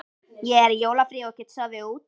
Ég er í jólafríi og get sofið út.